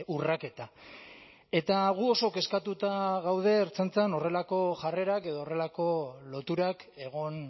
urraketa eta gu oso kezkatuta gaude ertzaintzan horrelako jarrerak edo horrelako loturak egon